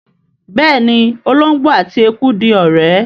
béèni olongbo àti ẹkú dì ọrẹ.